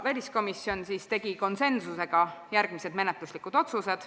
Väliskomisjon tegi konsensuslikult järgmised menetluslikud otsused.